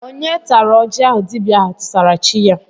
Onye tara oji ahụ dibịa ahụ tụsara chi ya?